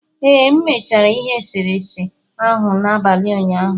Ee, M mechara ihe eserese ahụ n'abalị ụnyaahụ.